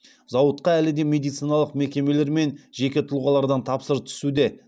зауытқа әлі де медициналық мекемелер мен жеке тұлғалардан тапсырыстар түсуде